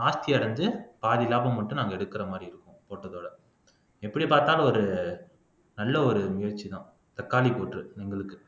நாஸ்தி அடைந்து பாதி லாபம் மட்டும் நாங்க எடுக்கிற மாதிரி இருக்கும் போட்டதோட எப்படி பார்த்தாலும் ஒரு நல்ல ஒரு முயற்சிதான் தக்காளி கூற்று எங்களுக்கு